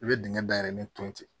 I bɛ dingɛ dayɛlɛ ne ton ten